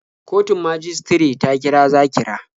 Kotun majistare ta kira Zakira.